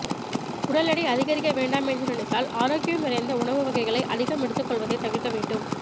உடல் எடை அதிகரிக்க வேண்டாம் என்று நினைத்தால் ஆரோக்கியம் நிறைந்த உணவு வகைகளை அதிகம் எடுத்துக்கொள்வதை தவிர்க்க வேண்டும்